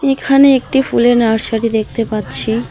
এখানে একটি ফুলের নার্সারি দেখতে পাচ্ছি।